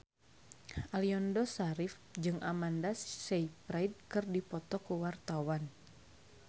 Aliando Syarif jeung Amanda Sayfried keur dipoto ku wartawan